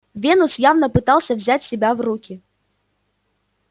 венус явно пытался взять себя в руки